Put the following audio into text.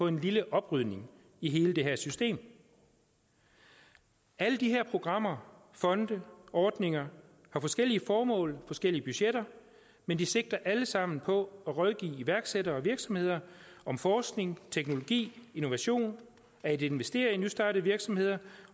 en lille oprydning i hele det her system alle de her programmer fonde ordninger har forskellige formål forskellige budgetter men de sigter alle sammen på at rådgive iværksættere og virksomheder om forskning teknologi innovation at investere i nystartede virksomheder